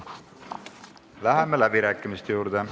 Läheme läbirääkimiste juurde.